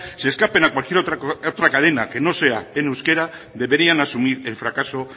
se escapen a cualquier otra cadena que no sea en euskera deberían asumir el fracaso